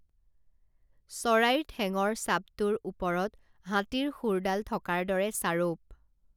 চৰাইৰ ঠেঙৰ চাবটোৰ ওপৰত হাতীৰ শুঁৰ ডাল থকাৰ দৰে চাৰৌপ